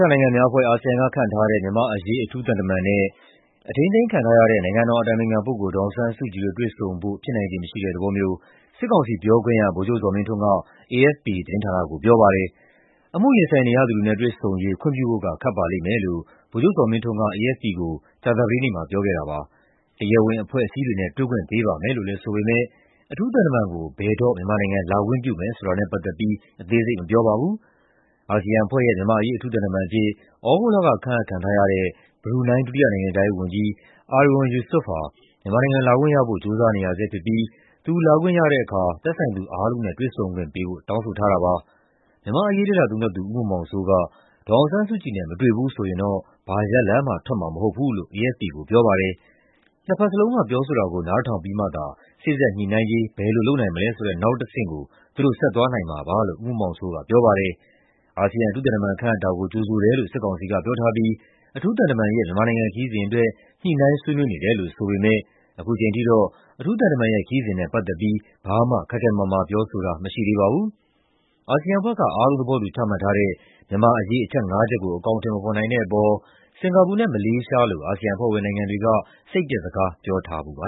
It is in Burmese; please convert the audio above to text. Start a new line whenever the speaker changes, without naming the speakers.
ောင်အာရှနိုင်ငံများအဖွဲ့ (ASEAN) က ခန့်ထားတဲ့ မြန်မာ့အရေး အထူးသံတမန်နဲ့ အထိန်းသိမ်းခံထားရတဲ့ နိုင်ငံတော်အတိုင်ပင်ခံပုဂ္ဂိုလ် ဒေါ်အောင်ဆန်းစုကြည်တို့ တွေ့ဆုံဖို့ ဖြစ်နိုင်ခြေမရှိတဲ့သဘောမျိုး စစ်ကောင်စီပြောခွင့်ရ ဗိုလ်ချုပ်ဇော်မင်းထွန်းက AFP သတင်းဌာနကို ပြောပါတယ်။ "အမှုရင်ဆိုင်နေရသူတွေနဲ့ တွေ့ဆုံရေး ခွင့်ပြုဖို့က ခက်ပါလိမ့်မယ်" လို့ ဗိုလ်ချုပ်ဇော်မင်းထွန်းက AFP ကို ကြာသပတေးနေ့မှာ ပြောခဲ့တာပါ။ "တရားဝင်အဖွဲ့အစည်းတွေနဲ့ တွေ့ခွင့်ပေးပါမယ်" လို့လည်း ဆိုပေမယ့် အထူးသံတမန်ကို ဘယ်တော့ မြန်မာနိုင်ငံ လာခွင့်ပြုမယ်ဆိုတာနဲ့ ပတ်သက်ပြီး အသေးစိတ် မပြောပါဘူး။ အာဆီယံအဖွဲ့ရဲ့ မြန်မာ့အရေး အထူးသံတမန်အဖြစ် သြဂုတ်လက ခန့်အပ်ခံထားရတဲ့ ဘရူနိုင်း ဒုတိယနိုင်ငံခြားရေးဝန်ကြီး Erywan Yusof ဟာ မြန်မာနိုင်ငံ လာခွင့်ရဖို့ ကြိုးစားနေရဆဲဖြစ်ပြီး သူလာခွင့်ရတဲ့အခါ သက်ဆိုင်သူအားလုံးနဲ့ တွေ့ဆုံခွင့်ပေးဖို့ တောင်းဆိုထားတာပါ။ မြန်မာ့အရေး လေ့လာသုံးသပ်သူ ဦးမောင်မောင်စိုးက ဒေါ်အောင်ဆန်းစုကြည်နဲ့ မတွေ့ဘူးဆိုရင် ဘာရလဒ်မှ ထွက်မှာမဟုတ်ဘူးလို့ AFP ကို ပြောပါတယ်။ "နှစ်ဖက်စလုံးက ပြောဆိုတာကို နားထောင်ပြီးမှသာ စေ့စပ်ညှိနှိုင်းရေး ဘယ်လိုလုပ်နိုင်မလဲဆိုတဲ့ နောက်တဆင့်ကို သူတို့ ဆက်သွားနိုင်မှာပါ" လို့ ဦးမောင်မောင်စိုးက ပြောပါတယ်။ အာဆီယံ အထူးသံတမန် ခန့်အပ်တာကို ကြိုဆိုတယ်လို့ စစ်ကောင်စီက ပြောထားပြီး အထူးသံတမန်ရဲ့ မြန်မာနိုင်ငံ ခရီးစဉ်အတွက် ညှိနှိုင်းဆွေးနွေးနေတယ်လို့ ဆိုပေမယ့် ခုချိန်ထိတော့ အထူးသံတမန်ရဲ့ ခရီးစဉ်နဲ့ ပတ်သက်ပြီး ဘာမှ ခိုင်ခိုင်မာမာ ပြောဆိုတာ မရှိသေးပါဘူး။ အာဆီယံအဖွဲ့က အားလုံးသဘောတူ ချမှတ်ထားတဲ့ မြန်မာ့အရေး အချက် ၅ ချက်ကို အကောင်အထည် မဖော်နိုင်တဲ့အပေါ် စင်ကာပူနဲ့ မလေးရှားလို အာဆီယံအဖွဲ့ဝင်နိုင်ငံတွေက စိတ်ပျက်စကား ပြောခဲ့ဖူးပါ